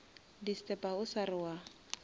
disturba o sa re wa